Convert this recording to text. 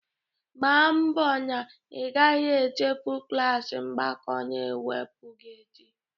Mgba mbọ na ị gaghị echefu klas mgbakọ na mwepụ gị echi!